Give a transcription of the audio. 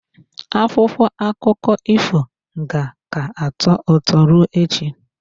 Akwụkwọ akụkọ ifo ka ga-atọ ụtọ ruo echi.